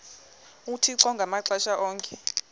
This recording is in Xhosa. uthixo ngamaxesha onke